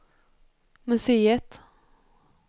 museet